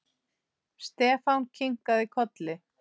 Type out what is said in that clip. Stefán kinkaði kolli.